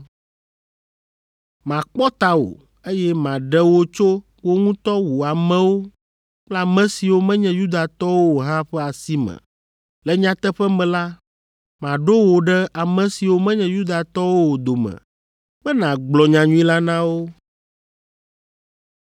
Makpɔ tawò, eye maɖe wò tso wò ŋutɔ wò amewo kple ame siwo menye Yudatɔwo o hã ƒe asi me. Le nyateƒe me la, maɖo wò ɖe ame siwo menye Yudatɔwo o dome be nàgblɔ nyanyui la na wo,